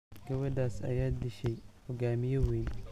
Gabadhaas ayaa dishay hoggaamiye weyn.